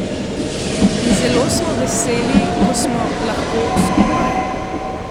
In zelo smo veseli, ko smo lahko skupaj.